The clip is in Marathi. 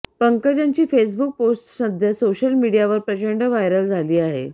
पंकजांची फेसबुक पोस्टसध्या सोशल मीडियावर प्रचंड व्हायरल झाली आहे